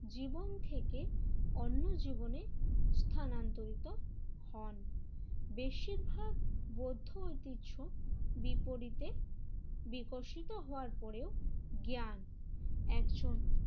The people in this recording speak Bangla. জীবন থেকে অন্য জীবনে স্থানান্তরিত হন। বেশিরভাগ বৌদ্ধ ঐতিহ্য বিপরীতে বিকশিত হওয়ার পরেও জ্ঞান একজন